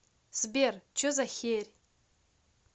сбер че за херь